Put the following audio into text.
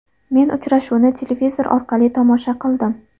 Men uchrashuvni televizor orqali tomosha qildim.